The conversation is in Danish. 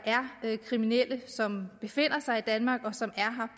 er kriminelle som befinder sig i danmark og som er